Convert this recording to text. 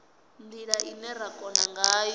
ndila ine ra kona ngayo